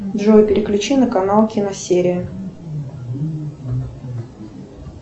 джой переключи на канал киносерия